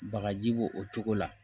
Bagaji bo o cogo la